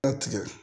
Tigɛ